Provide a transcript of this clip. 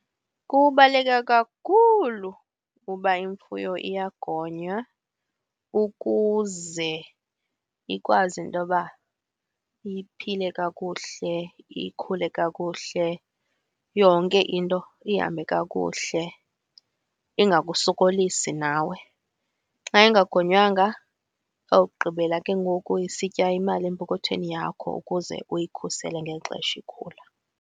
Kubaluleke kakhulu uba imfuyo iyagonywa ukuze ikwazi intoba iphile kakuhle, ikhule kakuhle, yonke into ihambe kakuhle, ingakusokolisi nawe. Xa ingagonywanga izawugqibela ke ngoku isitya imali empokothweni yakho ukuze uyikhusele ngeli xesha ikhula.